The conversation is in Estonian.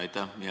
Aitäh!